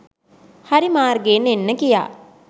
හරි මාර්ගයෙන් එන්න කියා